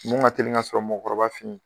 mun ŋa teli ŋa sɔrɔ mɔgɔkɔrɔba fe ye